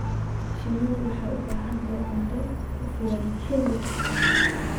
Shinnidu waxay u baahan tahay cunto ku filan xilli kasta.